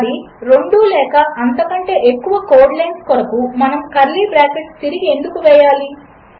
అది రెండులేకఅంతకంటేఎక్కువకోడ్లైన్లకొరకుమనముకర్లీబ్రాకెట్లుతిరిగిఎందుకువేయాలి